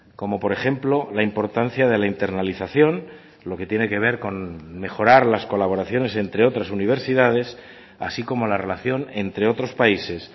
como por ejemplo la importancia de la internalización lo que tiene que ver con mejorar las colaboraciones entre otras universidades así como la relación entre otros países